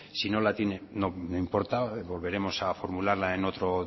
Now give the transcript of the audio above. si no la tiene no importa volveremos a formularla en otro